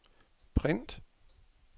print